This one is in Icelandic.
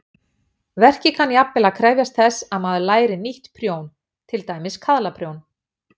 Verkið kann jafnvel að krefjast þess að maður læri nýtt prjón, til dæmis kaðlaprjón.